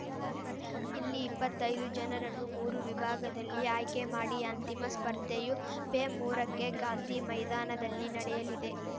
ಇಲ್ಲಿ ಇಪ್ಪತ್ತೈದು ಜನರನ್ನು ಮೂರು ವಿಭಾಗದಲ್ಲಿ ಆಯ್ಕೆ ಮಾಡಿ ಅಂತಿಮ ಸ್ಪರ್ಧೆಯು ಪೆ ಮೂರಕ್ಕೆ ಗಾಂಧಿ ಮೈದಾನದಲ್ಲಿ ನಡೆಯಲಿದೆ